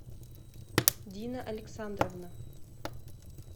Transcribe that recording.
дина александровна